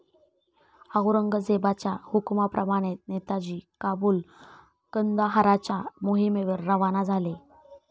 औरंगजेबाच्या हुकुमाप्रमाणे नेताजी काबुल कंदाहाराच्या मोहिमेवर रवाना झाले.